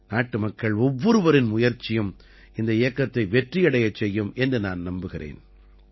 நாட்டு மக்கள் ஒவ்வொருவரின் முயற்சியும் இந்தப் இயக்கத்தை வெற்றியடையச் செய்யும் என்று நான் நம்புகிறேன்